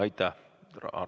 Aitäh!